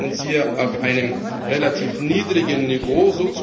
Wir bewegen uns hier auf einem relativ niedrigen Niveau.